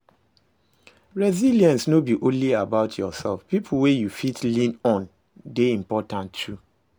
Resilence no be only about yourself, pipo wey you fit lean on de important too